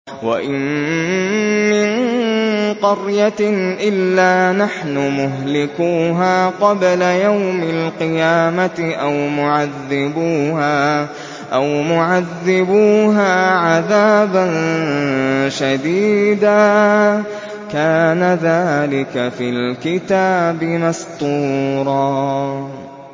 وَإِن مِّن قَرْيَةٍ إِلَّا نَحْنُ مُهْلِكُوهَا قَبْلَ يَوْمِ الْقِيَامَةِ أَوْ مُعَذِّبُوهَا عَذَابًا شَدِيدًا ۚ كَانَ ذَٰلِكَ فِي الْكِتَابِ مَسْطُورًا